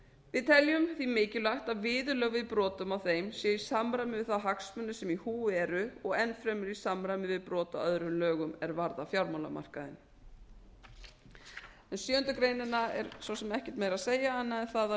við teljum því mikilvægt að viðurlög við brotum á þeim séu í samræmi við þá hagsmuni sem í húfi eru og enn fremur í samræmi við brot á öðrum lögum er varða fjármálamarkaðinn um sjöundu grein er svo sem ekkert meira að segja annað en það að